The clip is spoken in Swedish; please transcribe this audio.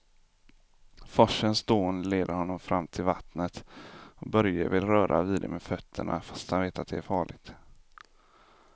Forsens dån leder honom fram till vattnet och Börje vill röra vid det med fötterna, fast han vet att det är farligt.